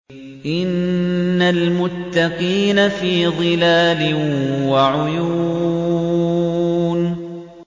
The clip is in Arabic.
إِنَّ الْمُتَّقِينَ فِي ظِلَالٍ وَعُيُونٍ